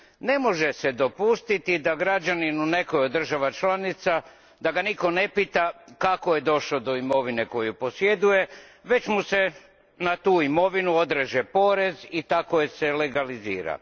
Ne može se dopustiti građaninu neke od država članica da ga nitko ne pita kako je došao do imovine koju posjeduje, već mu se na tu imovinu odreže porez i tako je se legalizira.